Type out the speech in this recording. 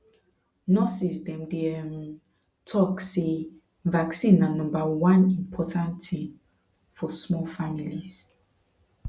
nurses dem dey um talk say vaccine na number one important thing for small families